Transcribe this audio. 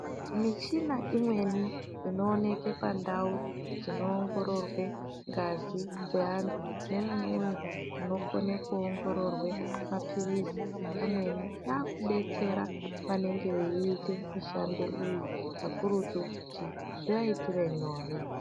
Michina imweni inooneke pandau dzinoongororwe ngazi dzeantu memumweni munokone kuongororwe maphirizi amweni. Akubetsera vanengeviita mishando iyi kakurutu kuti zvivaitire nyore.